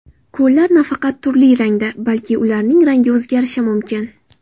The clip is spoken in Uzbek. Ko‘llar nafaqat turli rangda, balki ularning rangi o‘zgarishi mumkin.